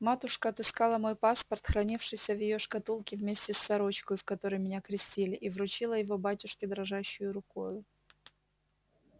матушка отыскала мой паспорт хранившийся в её шкатулке вместе с сорочкою в которой меня крестили и вручила его батюшке дрожащею рукою